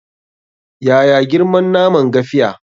Yaya girman naman gafiya?